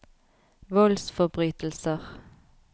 voldsforbrytelser